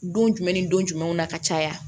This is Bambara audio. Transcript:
Don jumɛn ni don jumɛnw na ka caya